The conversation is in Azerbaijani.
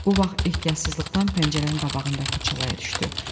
Bu vaxt ehtiyatsızlıqdan pəncərənin qabağındakı çalaya düşdü.